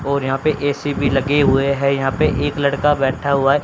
और यहां पे ए_सी भी लगे हुए हैं यहां पे एक लड़का बैठा हुआ है।